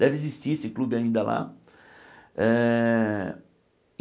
Deve existir esse clube ainda lá. Eh